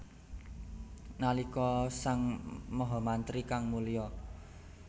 Nalika sang mahamantri kang mulya